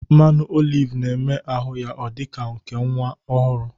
Mmanụ olive na-eme ahụ ya ọ dị ka nke nwa ọhụrụ